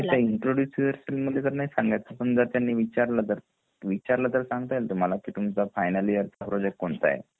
नाही ते introduce yourself मध्ये तर नाही सांगायच पण जर त्यांनी विचारलं तर विचारलं तर तुम्हाला संगता येईल का फायनल ईयर च प्रोजेक्ट कोणता आहे